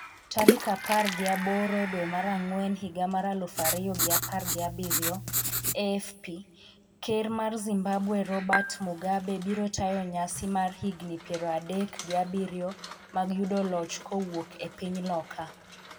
tarik apar gi aboro dwe mar Ang'wen higa mar aluf ariyo gi apar gi abiriyo AFP Ker mar Zimbabwe Robert Mugabe biro tayo nyasi mar higini piero adek gi abiriyo mag yudo loch kowuok e piny loka